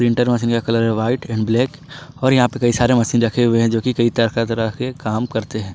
Inter machine का colour white and black और यहां पे कई सारे मशीन रखे हुए हैं जो कि कई तरह के काम करते हैं।